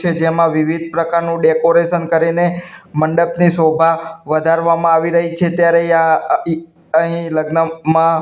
છે જેમાં વિવિધ પ્રકારનું ડેકોરેશન કરીને મંડપની શોભા વધારવામાં આવી રહી છે ત્યારે આ અ અહીં લગ્નમાં--